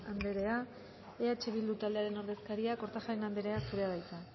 anderea eh bildu taldearen ordezkaria kortajarena anderea zurea da hitza